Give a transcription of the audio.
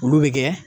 Olu bɛ kɛ